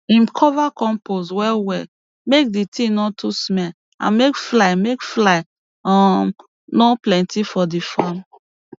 him cover compost well well make d tin no too smell and make fly make fly um no plenty for di farm